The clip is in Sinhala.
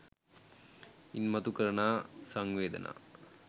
ඉන් මතු කරන සංවේදනා